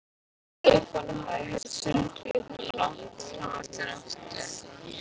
Stefán hafði heyrt tuldrið í þeim langt fram eftir nóttu.